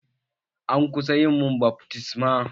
An kusa yi mun baftisma.